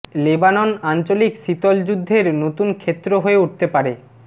Lebanon আঞ্চলিক শীতল যুদ্ধের নতুন ক্ষেত্র হয়ে উঠতে পারে